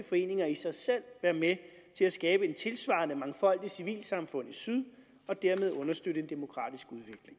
foreninger i sig selv være med til at skabe et tilsvarende mangfoldigt civilsamfund i syd og dermed understøtte en demokratisk